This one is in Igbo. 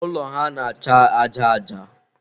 ụlọ ha na-acha aja aja.